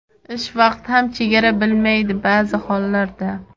Ish vaqti ham chegara bilmaydi baʼzi hollarda.